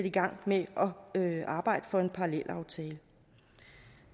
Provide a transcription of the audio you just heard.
i gang med at arbejde for en parallelaftale